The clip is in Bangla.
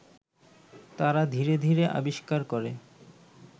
তারা ধীরে ধীরে আবিষ্কার করে